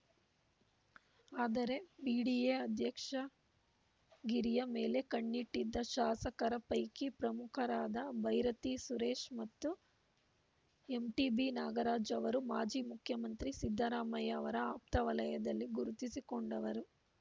ಆದರೆ ಬಿಡಿಎ ಅಧ್ಯಕ್ಷಗಿರಿಯ ಮೇಲೆ ಕಣ್ಣಿಟ್ಟಿದ್ದ ಶಾಸಕರ ಪೈಕಿ ಪ್ರಮುಖರಾದ ಬೈರತಿ ಸುರೇಶ್‌ ಮತ್ತು ಎಂಟಿಬಿ ನಾಗರಾಜ್‌ ಅವರು ಮಾಜಿ ಮುಖ್ಯಮಂತ್ರಿ ಸಿದ್ದರಾಮಯ್ಯ ಅವರ ಆಪ್ತವಲಯದಲ್ಲಿ ಗುರುತಿಸಿಕೊಂಡವರು